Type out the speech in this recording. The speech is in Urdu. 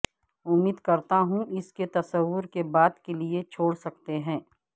امید کرتا ہوں اس کے تصور کے بعد کے لئے چھوڑ سکتے ہیں